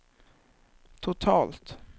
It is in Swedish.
totalt